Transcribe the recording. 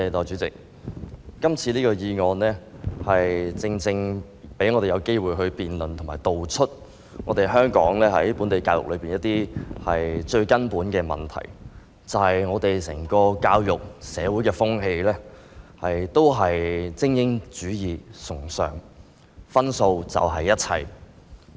這項議案正好讓我們有機會辯論和道出香港本地教育的最根本問題，即我們的教育制度和社會風氣是崇尚精英主義，分數便是一切。